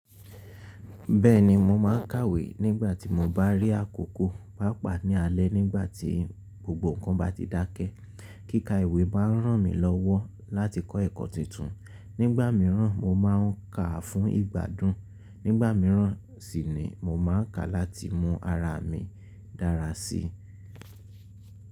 Bẹ́ẹ̀ni, mo máa ń kàwé nígbà tí mo bá rí àkókò, pàápàá ní alẹ́ nígbà tí gbogbo nǹkan bá ti dákẹ́. Kíkà ìwé máa ń ràn mí lọ́wọ́ láti kọ́ ẹ̀kọ́ titun. Nígbà mìíràn mo máa ń kà a fún ìgbàdùn. Nígbà mìíràn síi ni mo máa ń kà láti mú ara mi dára síi.